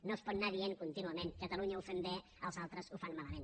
no es pot anar dient contínuament catalunya ho fem bé els altres ho fan malament